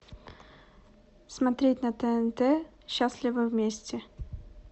смотреть на тнт счастливы вместе